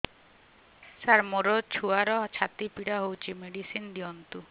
ସାର ମୋର ଛୁଆର ଛାତି ପୀଡା ହଉଚି ମେଡିସିନ ଦିଅନ୍ତୁ